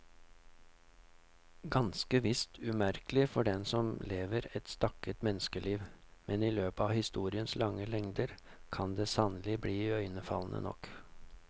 Ganske visst umerkelig for den som lever et stakket menneskeliv, men i løpet av historiens lange lengder kan det sannelig bli iøynefallende nok.